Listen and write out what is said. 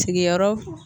Sigiyɔrɔ